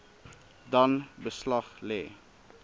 dan beslag lê